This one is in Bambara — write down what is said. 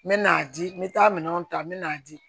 N me n'a di n be taa minɛnw ta n mɛ n'a di